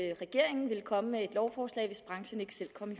at regeringen ville komme med et lovforslag hvis branchen ikke selv kom i